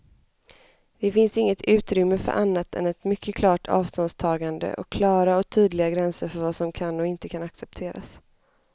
Det finns inte utrymme för annat än ett mycket klart avståndstagande och klara och tydliga gränser för vad som kan och inte kan accepteras.